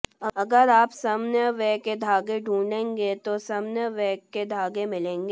अगर आप समन्वय के धागे ढूंढेंगे तो समन्वय के धागे मिलेंगे